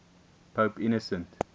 pope innocent